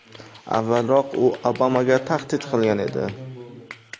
Avvalroq u Obamaga tahdid qilgan edi.